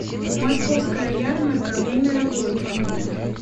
московская ярмарка время работы